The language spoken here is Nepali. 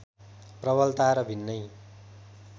प्रबलता र भिन्नै